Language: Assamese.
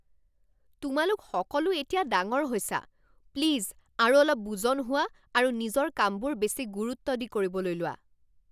তোমালোক সকলো এতিয়া ডাঙৰ হৈছা! প্লিজ আৰু অলপ বুজন হোৱা আৰু নিজৰ কামবোৰ বেছি গুৰুত্ব দি কৰিবলৈ লোৱা।